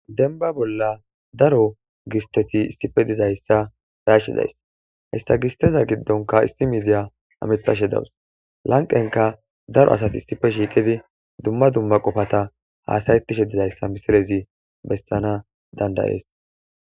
denba bolla daro gisteti issife dizayssa be'ashe days hegisteza giddonka isi miziya hametashe dawus lanqenka daro asati issife shiiqidi dumma dumma qofata haasayetishe dizayssa misilezi besana dandayees